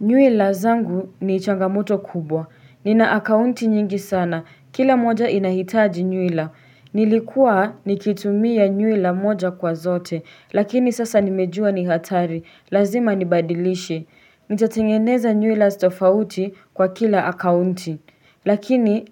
Nyuila zangu ni changamoto kubwa. Ninaakaunti nyingi sana. Kila moja inahitaji nyuila. Nilikuwa nikitumia nyuila moja kwa zote. Lakini sasa nimejua ni hatari. Lazima nibadilishe. Nitatengeneza nyuila tofauti kwa kila akaunti. Lakini